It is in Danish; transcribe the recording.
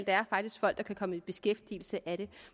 er faktisk folk der kan komme i beskæftigelse af det